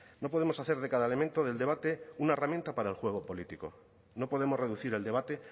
no podemos hacer de cada elemento del debate una herramienta para el juego político no podemos reducir el debate